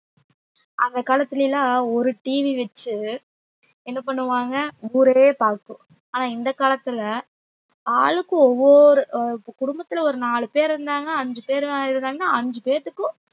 அந்த காலத்துல எல்லா ஒரு TV வச்சு என்ன பண்ணுவாங்க ஊரே பாக்கும் ஆனா இந்த காலத்துல ஆளுக்கு ஒவ்வொரு அஹ் குடும்பத்துல ஒரு நாலு பேர் இருந்தாங்க அஞ்சு பேரு இருந்தாங்க அஞ்சு பேத்துக்கும்